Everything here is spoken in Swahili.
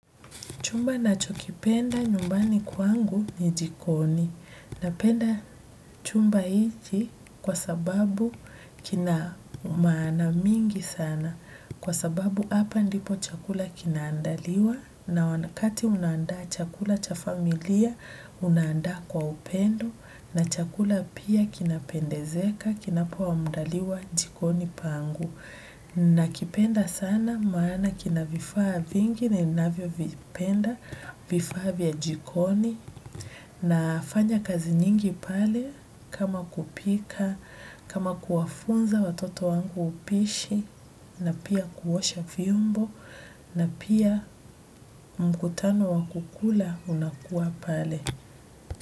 Chumba nacho kipenda nyumbani kwangu ni jikoni. Napenda chumba hichi kwa sababu kina maana mingi sana. Kwa sababu hapa ndipo chakula kinaandaliwa na wakati unaandaa chakula cha familia unaandaa kwa upendo na chakula pia kinapendezeka kinapo andaliwa jikoni pangu. Na kipenda sana maana kina vifaa vingi ninavyo vipenda vifaa vya jikoni na fanya kazi nyingi pale kama kupika, kama kuwafunza watoto wangu upishi na pia kuosha vyombo na pia mkutano wa kukula unakuwa pale.